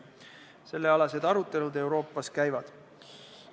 Selleteemalised arutelud Euroopas käivad.